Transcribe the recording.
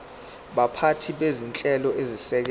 baphathi bezinhlelo ezisekela